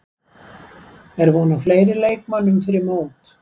Er von á fleiri leikmönnum fyrir mót?